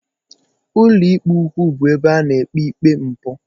Ụlọikpe ukwu bụ ebe a na-ekpe ikpe mpụ.